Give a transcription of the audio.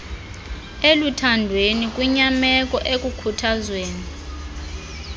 eluthandweni kwinyameko ekukhuthazweni